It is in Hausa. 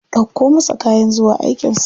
Ɗauko masa kayan zuwa aikin sa.